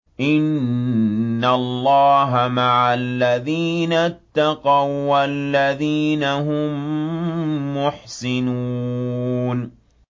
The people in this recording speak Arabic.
إِنَّ اللَّهَ مَعَ الَّذِينَ اتَّقَوا وَّالَّذِينَ هُم مُّحْسِنُونَ